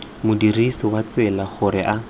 modirisi wa tsela gore a